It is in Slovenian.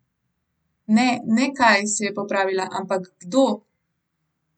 Ne, ne kaj, se je popravila, ampak kdo.